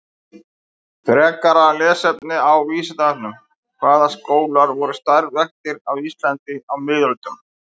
Frekara lesefni á Vísindavefnum: Hvaða skólar voru starfræktir á Íslandi á miðöldum?